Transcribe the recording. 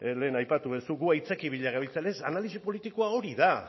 lehen aipatu duzu gu aitzakia bila gabiltzala analisi politikoa hori da